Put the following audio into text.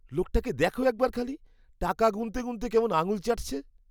লোকটাকে দেখো একবার খালি। টাকা গুণতে গুণতে কেমন আঙ্গুল চাটছে।